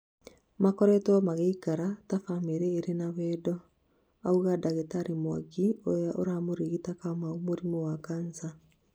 Makoretwo magĩikara ta bamĩri irĩ na wendo, aũga dagĩtarĩ Mwangi ũria ũramũrigitaga Kamau mũrimũ wa kansa